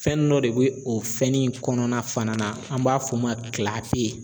Fɛn dɔ de bɛ o fɛn nin kɔnɔna fana na an b'a fɔ o ma